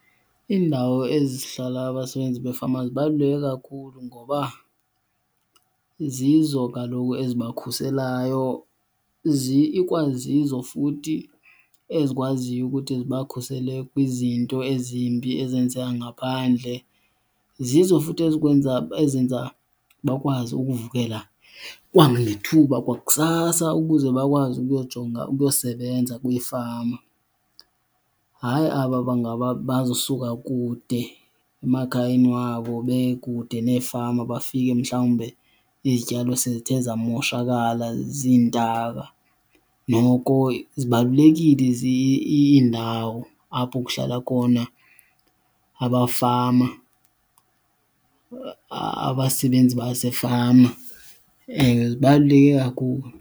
Indawo ezihlala abasebenzi befama zibaluleke kakhulu ngoba zizo kaloku ezibakhuselayo, ikwazizo futhi ezikwaziyo ukuthi zibakhusele kwizinto ezimbi ezenzeka ngaphandle. Zizo futhi ezikwenza ezenza bakwazi ukuvukela kwangethuba kwakusasa ukuze bakwazi ukuyojonga, ukuyosebenza kwifama. Hayi aba bangaba bazosuka kude emakhayeni wabo, bekude neefama bafike mhlawumbe izityalo sezithe zamoshakala ziintaka. Noko zibalulekile iindawo apho kuhlala khona abafama, abasebenzi basefama, zibaluleke kakhulu.